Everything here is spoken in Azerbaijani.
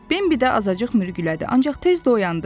Bimbi də azacıq mürgülədi, ancaq tez də oyandı.